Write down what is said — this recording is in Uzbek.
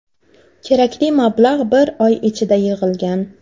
Kerakli mablag‘ bir oy ichida yig‘ilgan.